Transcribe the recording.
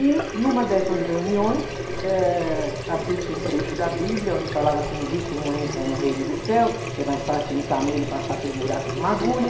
E, numa dessas reuniões, eh, abriu-se um trecho da Bíblia, onde falava que um rico não entra no reino do céu, que é mais fácil um camelo passar pelo buraco de uma agulha.